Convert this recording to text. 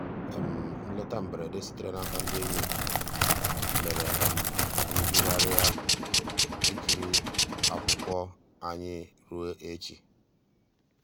nlétà mbèredè sìtèrè n'àka ndí ényì mèrè um kà ànyị́ yìghàrị̀rị́ um ìkìrí akwụ́kwọ́ um ànyị́ rùó èchì.